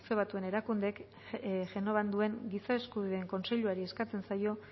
batuen erakundeek genovan duen giza eskubideen kontseiluari eskatzen zaio